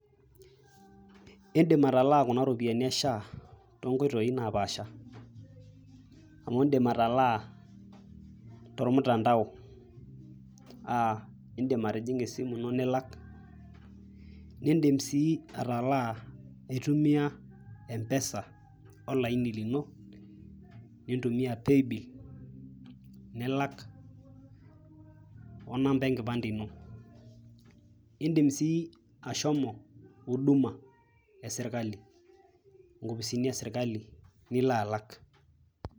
Indim atalaa kuna ropiyiani e shaa toonkoitoi naapaasha amu indim atalaa tormutandao . aa indim atijinga esimu ino nilak , nindim sii atalaa intumia mpesa olaini lino , nintumia paybill nilak , onamba enkipande ino . Indim sii ashomo huduma e sirkali, nkopisini e sirkali nilo alak .